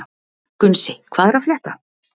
Gunnsi, hvað er að frétta?